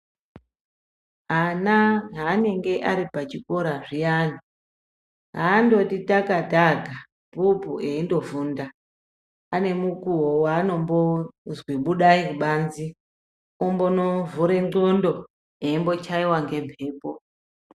Ana haanenge ari pachikora zviyana haandoti takataka bhuku eindofunda ane mukuwo waanombozwi budai kubanze ombonovhure ndxondo eimbochaiwa ngembepo.